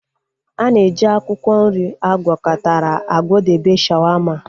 Ana eji akwụkwọ nri agwakọtara akwadebe shawaama